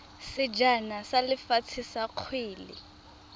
sejana sa lefatshe sa kgwele